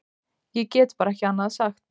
Ég get bara ekki annað sagt.